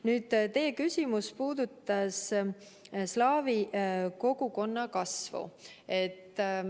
Nüüd, teie küsimus puudutas ka slaavi kogukonna kasvu.